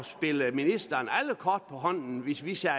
spille ministeren alle kort på hånden hvis vi sagde